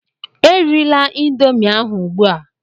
Erila Indomie ahụ ugbua!